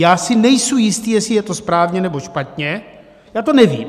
Já si nejsem jistý, jestli je to správně, nebo špatně, já to nevím.